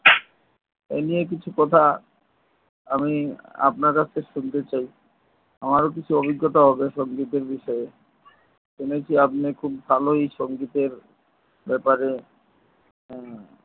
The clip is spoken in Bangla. এই নিয়ে কিছু কথা আমি আপনার কাছ থেকে শুনতে চাই আমারও কিছু অভিজ্ঞতা হবে সঙ্গীতের বিষয়ে শুনেছি আপনি খুব ভালোই সঙ্গীতের ব্যাপারে হু